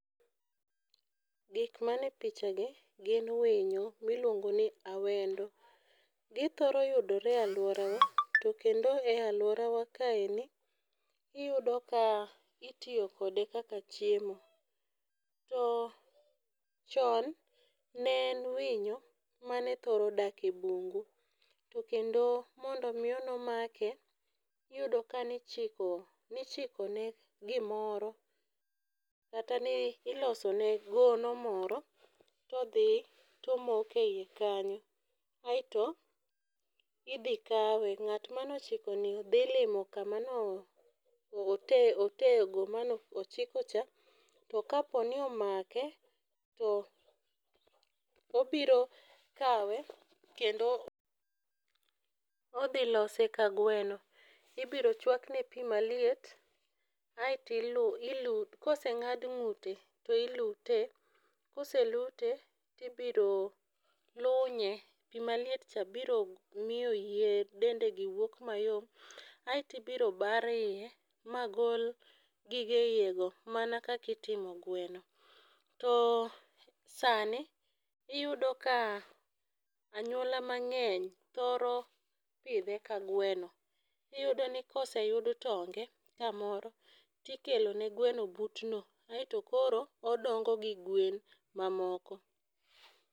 Gik mane pichagi gin winyo ma ilwongo ni awendo. Githoro yudore e alworawa. To kendo e alworawa kaendi iyudo ka itiyo kode kaka chiemo. To chon, ne en winyo mane thoro dak e bungu. To kendo mondo miyo nemake, iyudo ka ne ichiko, nichiko ne gimoro, kata ne iloso ne gono moro to odhi to omoko e ie kanyo. Aeto idhi kawe. Ng'at mane ochiko ni dhi limo ka kama ne ote otego mane ochiko cha, to kaponi omake to obiro kawe, kendo odhi lose ka gweno. Ibiro chwakne pi maliet, aeto. Koseng'ad ng'ute to ilute, koselute, to ibiro lunye. Pi maliet cha biro miyo yier dende gi wuok mayot. Aeto ibiro bar iye, magol gige iye go, mana kaka itimo gweno. To sani, iyudo ka anyuola mang'eny thoro pidhe ka gweno. Iyudo ni ka oseyud tonge kamoro ikelo ne gweno butno. Aeto koro, odongo gi gwen mamoko.